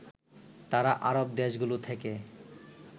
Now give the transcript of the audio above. তারা আরব দেশগুলো থেকে